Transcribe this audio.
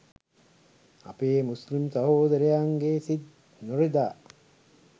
අපේ මුස්ලිම් සහෝදරයන්ගේ සිත් නොරිදා